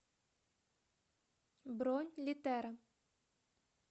бронь литера